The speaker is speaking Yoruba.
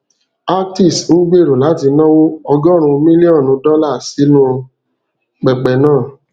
actis n gbero lati nawo ọgọrùn millionu dollar sinu pẹpẹ naa